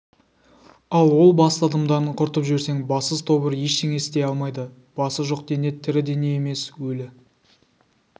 ал ол басты адамдарын құртып жіберсең бассыз тобыр ештеңе істей алмайды басы жоқ дене тірі дене емес өлі